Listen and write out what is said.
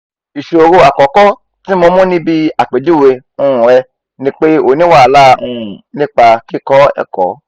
iṣoro akọkọ ti mo mu nibi apejuwe um rẹ ni pe o ni wahala um nipa kikọ ẹkọ